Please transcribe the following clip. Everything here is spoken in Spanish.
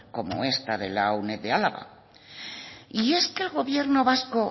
como esta de la uned de álava y es que al gobierno vasco